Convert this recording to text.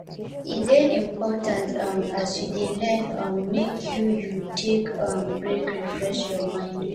e de important um as you de learn um make you you take um break refresh your mind